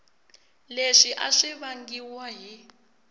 leswi a swi vangiwa hi